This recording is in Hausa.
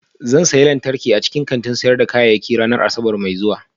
Zan sayi lantarki a cikin kantin sayar da kayayyaki ranar Asabar mai zuwa